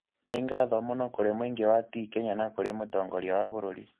Nĩ ngatho mũno kũrĩ mũingĩ wa TKenya na kũrĩ mũtongoria wa bũrũri.